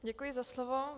Děkuji za slovo.